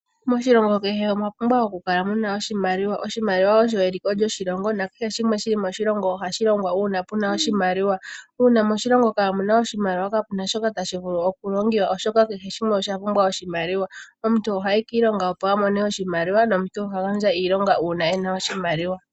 Moshilongo kehe omwa pumbwa oku kala muna oshimaliwa, oshimaliwa osho eliko lyoshilongo nakehe shimwe shili moshilongo ohashi longwa uuna puna oshimaliwa. Uuna moshilongo kaamuna oshimaliwa kapuna shoka tashi vulu oku longiwa oshoka kehe shimwe osha pumbwa oshimaliwa. Omuntu ohayi kiilonga opo a mone oshimaliwa, nomuntu oha gandja iilonga uuna ena oshimaliwa.